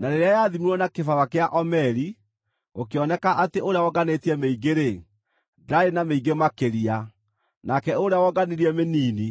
Na rĩrĩa yathimirwo na kĩbaba kĩa omeri, gũkĩoneka atĩ ũrĩa wonganĩtie mĩingĩ-rĩ, ndaarĩ na mĩingĩ makĩria; nake ũrĩa wonganirie mĩnini,